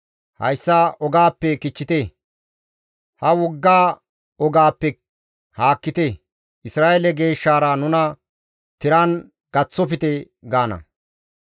Hayssa ogaappe kichchite; ha wogga ogaappe haakkite; Isra7eele Geeshshaara nuna tiran gaththofte» gaana.